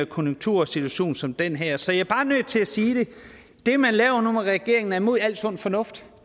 konjunktursituation som den her så jeg er bare nødt til at sige det det man laver nu i regeringen er imod al sund fornuft